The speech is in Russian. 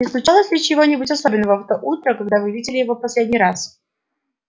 не случилось ли чего-нибудь особенного в то утро когда вы видели его в последний раз